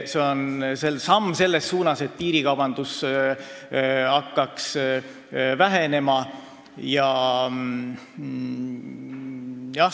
See on samm selles suunas, et piirikaubandus hakkaks vähenema.